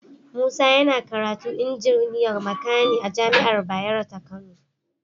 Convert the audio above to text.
Musa yana karatu injiniyar makani a jami'ar Bayero ta Kano